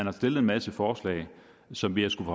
har stillet en masse forslag som vi har skullet